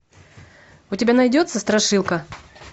у тебя найдется страшилка